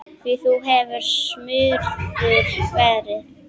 Því þú hefur smurður verið.